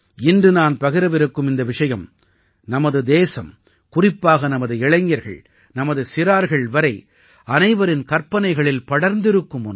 இன்று நான் பகிரவிருக்கும் இந்த விஷயம் நமது தேசம் குறிப்பாக நமது இளைஞர்கள் நமது சிறார்கள் வரை அனைவரின் கற்பனைகளில் படர்ந்திருக்கும் ஒன்று